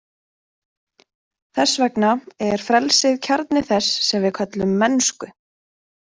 Þess vegna er frelsið kjarni þess sem við köllum mennsku.